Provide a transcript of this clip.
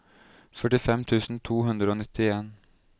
førtifem tusen to hundre og nittien